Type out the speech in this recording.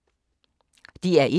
DR1